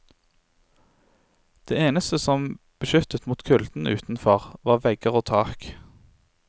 Det eneste som beskyttet mot kulden utenfor var vegger og tak.